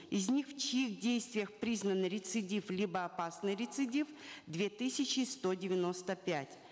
из них в чьих действиях признаны рецидив либо опасный рецидив две тысячи сто девяносто пять